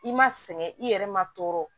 I ma sɛgɛn i yɛrɛ ma tɔɔrɔ